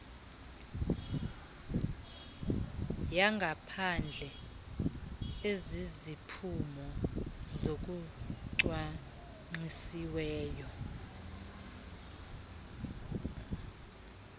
yangaphandle eziziphumo zokucwangcisiweyo